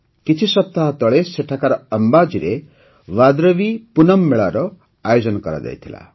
କିଛି ସପ୍ତାହ ତଳେ ସେଠାକାର ଅମ୍ବାଜୀରେ ଭାଦରବୀ ପୂନମ୍ ମେଳାର ଆୟୋଜନ କରାଯାଇଥିଲା